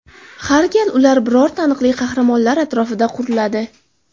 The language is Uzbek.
Har gal ular biror taniqli qahramonlar atrofida quriladi.